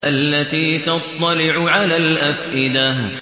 الَّتِي تَطَّلِعُ عَلَى الْأَفْئِدَةِ